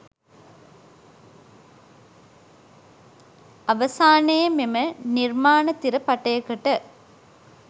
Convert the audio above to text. අවසානයේ මෙම නිර්මාණතිර පටයකට